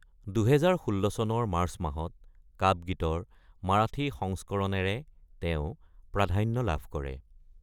২০১৬ চনৰ মাৰ্চ মাহত "কাপ গীত"ৰ মাৰাঠী সংস্কৰণেৰে তেওঁ প্ৰাধান্য লাভ কৰে।